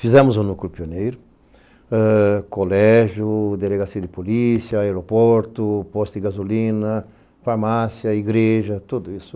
Fizemos o núcleo pioneiro, colégio, delegacia de polícia, aeroporto, posto de gasolina, farmácia, igreja, tudo isso.